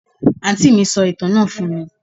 Àǹtí mí sọ ìtàn náà fún mí